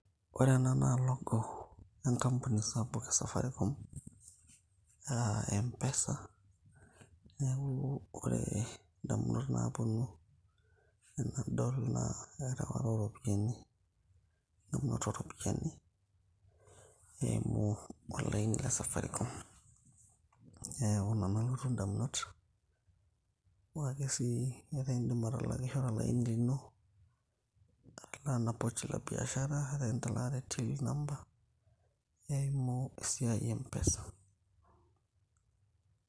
ore ena naa logo enkampuni sapuk e safaricom uh, mpesa neeku ore indamunot naaponu enadol naa erewata oropiyiani eng'amunoto oropiyiani eimu olaini le safaricom neeku ina nalotu indamunot amu ake sii etaa indim atalakishore olaini lino atalaa ena pochi la biashara arake enitalaa te till number eimu esiai e mpesa.